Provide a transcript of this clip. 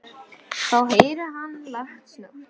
Þá heyrir hann lágt snökt.